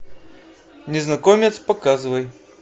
незнакомец показывай